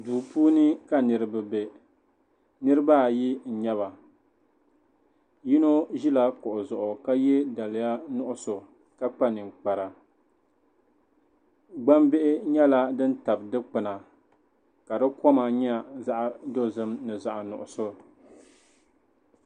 Duu puuni ka niriba be niriba ayi n-nyɛ ba yino ʒila kuɣu zuɣu ka ye daliya nuɣuso ka kpa. ninkpara gbambihi nyɛla din tabi dukpuna ka di koma nyɛ zaɣ'dozim ni zaɣ'nuɣuso.